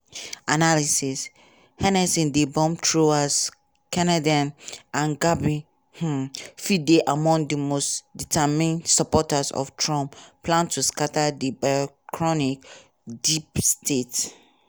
analysis: harnessing di bomb-throwers kennedy and gabbard um fit dey among di most determined supporters of trump plan to scatta di bureaucratic "deep state".